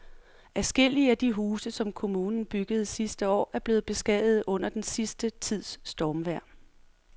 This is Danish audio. Adskillige af de huse, som kommunen byggede sidste år, er blevet beskadiget under den sidste tids stormvejr.